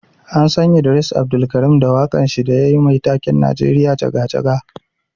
An San Idris Abdulkareem da wakan shi da yayi Mai taken 'Najeriya jaga jaga'.